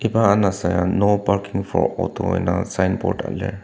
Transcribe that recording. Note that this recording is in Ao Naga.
iba anasa ya no parking for auto indang signboard a lir.